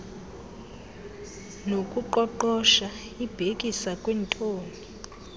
nokuqoqosha ibhekisa kwintoni